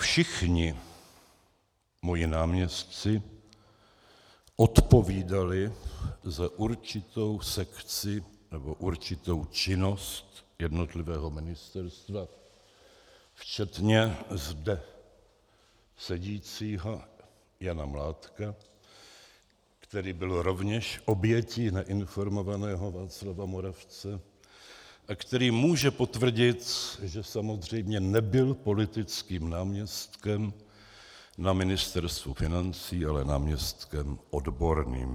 Všichni moji náměstci odpovídali za určitou sekci nebo určitou činnost jednotlivého ministerstva, včetně zde sedícího Jana Mládka, který byl rovněž obětí neinformovaného Václava Moravce a který může potvrdit, že samozřejmě nebyl politickým náměstkem na Ministerstvu financí, ale náměstkem odborným.